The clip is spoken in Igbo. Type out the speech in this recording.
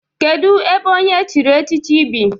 Kedu ebe onye echiri echichi bi?